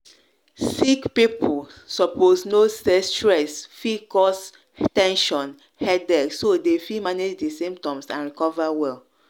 sick people supposeknow say stress fit cause ten sion headache so dem fit manage di symptoms and recover well.